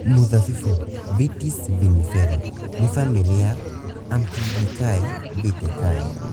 Mĩthabibũ (Vitis vinifera) - nĩ ya famĩlĩ ya Ampelidaceae (vitaceae)